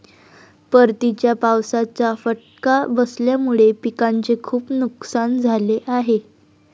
परतीच्या पावसाचा फटका बसल्यामुळे पिकांचे खूप नुकसान झाले आहे.